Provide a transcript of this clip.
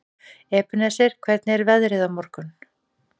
Ebeneser, hvernig er veðrið á morgun?